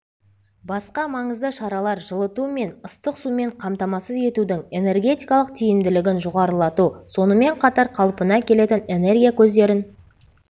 басқа маңызды шаралар жылыту мен ыстық сумен қамтамассыз етудің энергетикалық тиімділігін жоғарылату сонымен қатар қалпына келетін энергия көздерін